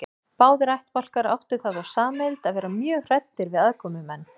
Báðir ættbálkar áttu það þó sameiginlegt að vera mjög hræddir við aðkomumenn.